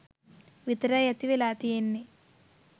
විතරයි ඇති වෙලා තියෙන්නේ.